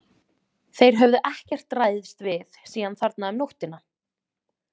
Þeir höfðu ekkert ræðst við síðan þarna um nóttina.